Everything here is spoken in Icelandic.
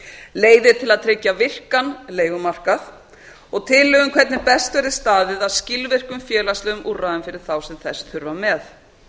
leiðir til að tryggja virkan leigumarkað og tillögu um hvernig best verði staðið að skilvirkum félagslegum úrræðum fyrir þá sem þess þurfa með